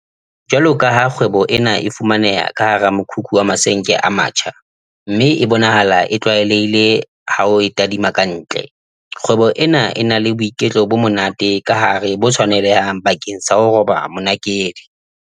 Jwalokaha kgwebo ena e fumaneha ka hara mokhukhu wa masenke a matjha mme e bonahala e tlwaelehile ha o e tadima ka ntle, kgwebo ena e na le boiketlo bo monate ka hare bo tshwanelehang bakeng sa ho roba monakedi.